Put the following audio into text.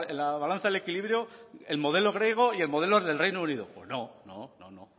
la balanza el equilibrio el modelo griego y el modelo del reino unido pues no